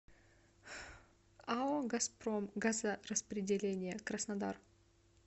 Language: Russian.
ао газпром газораспределение краснодар